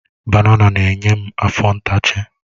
Banana na-enye m afọ ntachi.